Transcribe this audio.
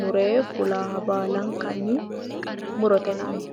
mure fulaaha baalankanni murote yinanni.